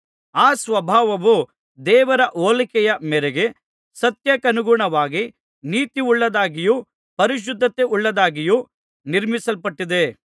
ಆ ಸ್ವಭಾವವು ದೇವರ ಹೋಲಿಕೆಯ ಮೇರೆಗೆ ಸತ್ಯಕ್ಕನುಗುಣವಾಗಿ ನೀತಿಯುಳ್ಳದ್ದಾಗಿಯೂ ಪರಿಶುದ್ಧತೆಯುಳ್ಳದ್ದಾಗಿಯೂ ನಿರ್ಮಿಸಲ್ಪಟ್ಟಿದೆ